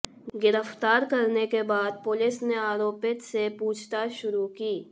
गिरफ्तार करने के बाद पुलिस ने आरोपित से पूछताछ शुरू की